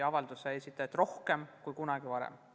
Avalduse esitajaid oli rohkem kui kunagi varem.